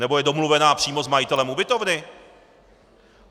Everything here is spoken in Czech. Nebo je domluvená přímo s majitelem ubytovny?